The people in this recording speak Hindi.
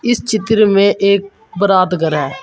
इस चित्र में एक बारात घर है।